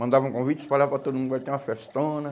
Mandavam convite, espalhava para todo mundo, vai ter uma festona.